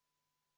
Liigume edasi.